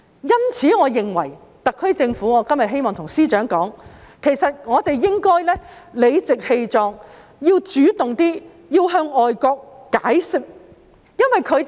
因此，我今天對司長說，我認為特區政府應該理直氣壯地主動向外國解釋。